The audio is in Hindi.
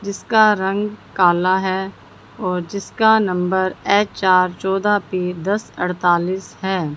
जिसका रंग काला है और जिसका नंबर एच_आर चौदह तीन दस अड़तालीस है।